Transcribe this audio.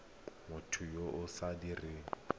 motho yo o sa dirang